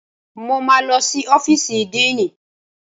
Mo máa lọ sí ọ́fíìsì díìnì